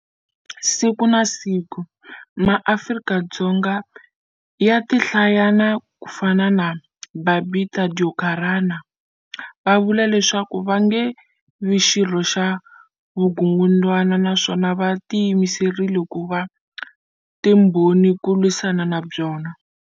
Siku na siku, MaAfrika-Dzonga ya tihlayana ku fana na Babita Deokaran va vula leswaku va nge vi xirho xa vukungundwana naswona va tiyimiserile ku va timbho ni ku lwisana na byona.